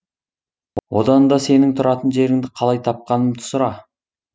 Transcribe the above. одан да сенің тұратын жеріңді қалай тапқанымды сұра